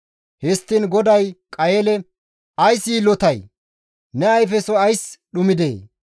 Histtiin GODAY Qayeele, «Ays yiillotay? Ne ayfesoy ays dhumidee?